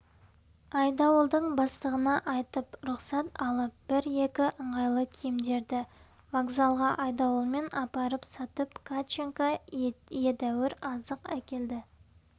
айдауылдың бастығына айтып рұқсат алып бір-екі ыңғайлы киімдерді вокзалға айдауылмен апарып сатып катченко едәуір азық әкелді